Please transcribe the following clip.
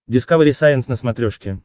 дискавери сайенс на смотрешке